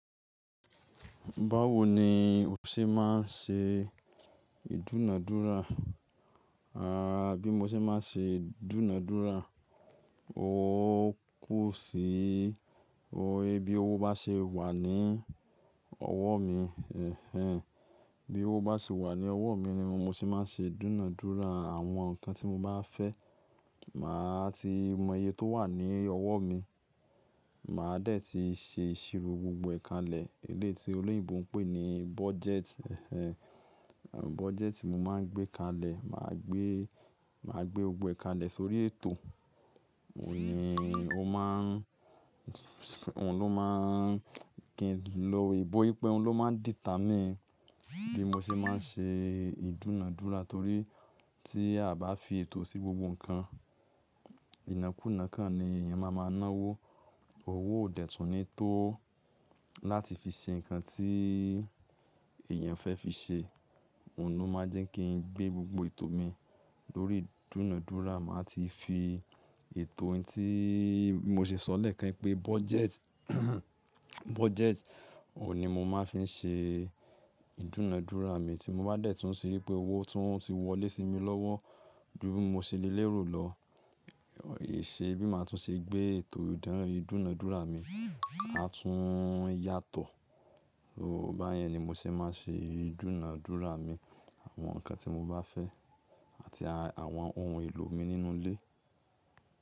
Báwo ni o ṣe máa ń ṣe ìdúnàádúrà? À bí mo ṣe máa ń ṣe ìdúnàádúrà, ó kú sí, ò he bí owó bá ṣe wà ní ọwọ́ mi, ẹhn, bí owó bá ṣe wà ní ọwọ́ mi ni mo ṣe máa ń ṣe ìdúnàádúrà, àwọn nǹkan tí mo bá fẹ́, mà á ti mọ iye tó wà ní ọwọ́ mi, mà á dẹ̀ ti ṣe ìṣirò gbogbo ẹ̀kalẹ̀, eléte olóyìnbo ń pè ní budget, ẹhn, budget mi máa ń gbé kalẹ̀, mà á gbé, mà á gbé gbogbo ẹ̀kalẹ̀ sórí ètò, òun ní ó má ń, òun ló má ń kí n lọ ìbò wípé òun ló má ń dìta mi. Bí mo ṣe máa ń ṣe ìdúnàádúrà torí tí a bá fi ètò sí gbogbo nǹkan, ìnákùná kan ni èèyàn máa máa ná owó. Òwò òdẹ tun ni tó láti fi ṣe nǹkan tí èèyàn fẹ́ fi ṣe, òun ló máa jẹ́ kí n gbé gbogbo ètò mi lórí ìdúnàádúrà, mà á ti fi ètò yẹn tí mo ṣe sọ̀rẹ́ kẹ́rì pé budget, budget, òun ni mo máa ń fi ṣe ìdúnàádúrà mi tí mo bá dẹ̀ tún ṣe wípé owó tún ti wọlé sí mi lọ́wọ́, dún mo ṣe lé lè rù lọ, è ṣe bí mà á tún ṣe gbé ètò ìdáná ìdúnàádúrà mi á tún yàtọ̀. Ó bá yẹn ni mo ṣe máa ń ṣe ìdúnàádúrà mi, àwọn nǹkan tí mo bá fẹ́ àti àwọn ohun èlò mi nínú ilé.